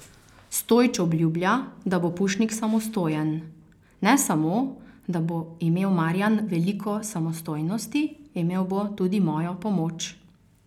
Stojić obljublja, da bo Pušnik samostojen: 'Ne samo, da bo imel Marijan veliko samostojnosti, imel bo tudi mojo pomoč.